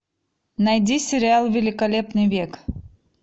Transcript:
найди сериал великолепный век